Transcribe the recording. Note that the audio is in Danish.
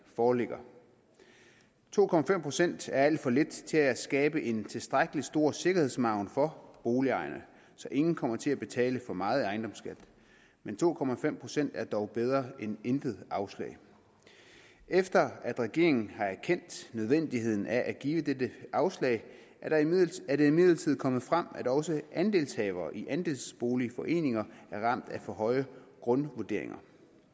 foreligger to procent er alt for lidt til at skabe en tilstrækkelig stor sikkerhedsmargen for boligejerne så ingen kommer til at betale for meget ejendomsskat men to procent er dog bedre end intet afslag efter at regeringen har erkendt nødvendigheden af at give dette afslag er det imidlertid kommet frem at også andelshavere i andelsboligforeninger er ramt af for høje grundvurderinger